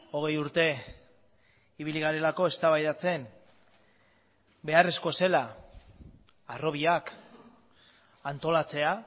hogei urte ibili garelako eztabaidatzen beharrezko zela harrobiak antolatzea